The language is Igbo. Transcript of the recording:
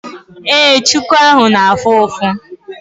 Ee, chuku ahụ na-afụ ụfụ.